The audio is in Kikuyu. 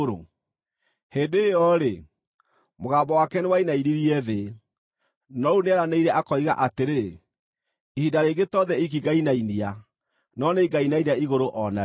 Hĩndĩ ĩyo-rĩ, mũgambo wake nĩwainainirie thĩ, no rĩu nĩeranĩire akoiga atĩrĩ, “Ihinda rĩngĩ to thĩ iiki ngainainia, no nĩngainainia igũrũ o narĩo.”